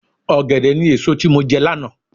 Ọ̀gẹ̀dẹ̀ ni èso tí mo jẹ lánàá.